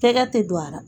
Cɛkɛ tɛ don a la